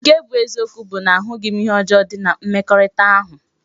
Nke bu eziokwu bu na ahughi m ihe di njo na mmekorita ahu.